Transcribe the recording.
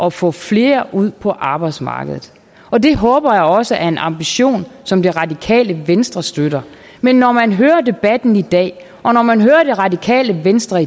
at få flere ud på arbejdsmarkedet og det håber jeg også er en ambition som det radikale venstre støtter men når man hører debatten i dag og når man hører det radikale venstre